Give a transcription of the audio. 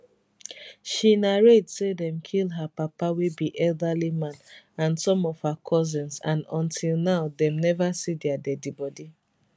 she narrate say dem kill her papa wey be elderly man and some of her cousins and until now dem neva see dia deadibody